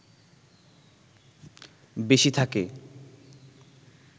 বেশি থাকে